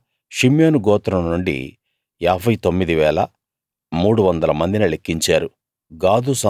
అలా షిమ్యోను గోత్రం నుండి 59 300 మందిని లెక్కించారు